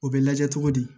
O bɛ lajɛ cogo di